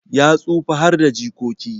Ya tsufa harda jikoki